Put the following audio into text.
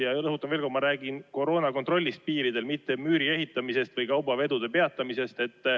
Ja rõhutan veel kord: ma räägin koroonakontrollist piiridel, mitte müüri ehitamisest või kaubavedude peatamisest.